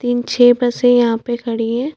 तीन छे बसे यहाँ पे खड़ी है।